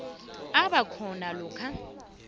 abe khona lokha